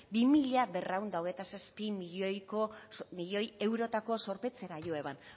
bi mila berrehun eta hogeita zazpi milioi eurotako zorpetzera jo eban